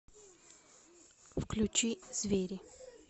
включи звери